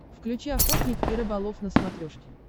включи охотник и рыболов на смотрешке